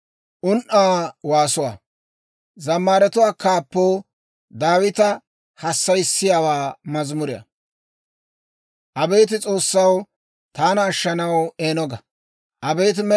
Abeet S'oossaw, taana ashshanaw eeno ga; abeet Med'inaa Godaw, taana maaddanaw elleella.